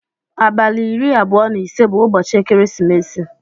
Abali iri abụọ na ise bu ụbọchi ekeresimesi.